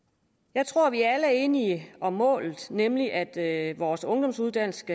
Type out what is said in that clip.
jeg tror vi alle er enige om målet nemlig at vores ungdomsuddannelser